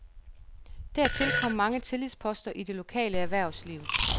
Dertil kom mange tillidsposter i det lokale erhvervsliv.